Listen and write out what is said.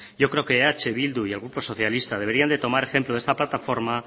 yo creo que eh bildu y el grupo socialista deberían de tomar ejemplo de esta plataforma